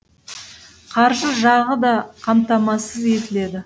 қаржы жағы да қамтамасыз етіледі